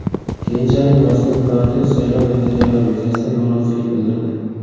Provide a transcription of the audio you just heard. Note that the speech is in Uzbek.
Keyinchalik mazkur partiya saylov natijalari yuzasidan norozilik bildirdi.